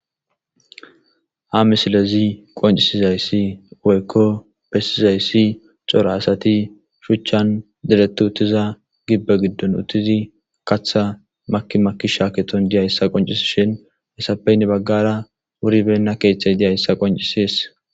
Ha misilezi qoncisizayssi oykko bessizayssi cora asati shuchchan diretti uttiza gibbe giddon uttizi katha maki maki shaaketon diya yssa qoncisi shin hessapeynne baggara wuribenna keeththay diya hissa qoncisees.